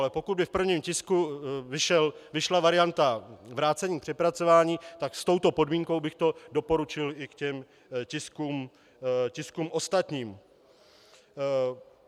Ale pokud by v prvním tisku vyšla varianta vrácení k přepracování, tak s touto podmínkou bych to doporučil i k těm tiskům ostatním.